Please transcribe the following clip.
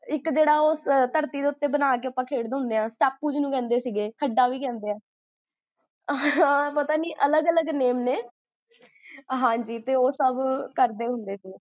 ਇਕ ਜੇਹੜਾ ਓਹ ਧਰਤੀ ਦੇ ਉੱਤੇ ਬਣਾ ਕ ਜੇਹੜਾ ਆਪਾਂ ਖੇਡਦੇ ਹੁੰਦੇ ਆ, ਟਾਪੂ ਜਿੰਨੂ ਕਹੰਦੇ ਸੀਗੇ ਹਾਂ ਪਤਾ ਨੀ ਅਲਗ ਅਲਗ ਜੇ name ਨੇ ਹਾਂਜੀ, ਓਹ ਸਬ